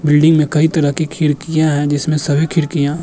building मे कई तरह के खेल किया है जिसमे सभी खिड़कियां --